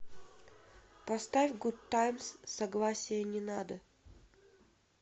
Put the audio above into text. поставь гудтаймс согласия не надо